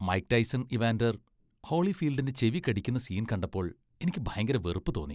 Mic Tyson Evander ഹോളിഫീൽഡിന്റെ ചെവി കടിക്കുന്ന സീൻ കണ്ടപ്പോ എനിക്ക് ഭയങ്കര വെറുപ്പ് തോന്നി.